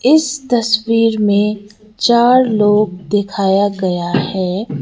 इस तस्वीर में चार लोग दिखाया गया है।